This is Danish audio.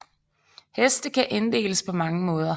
Heste kan inddeles på mange måder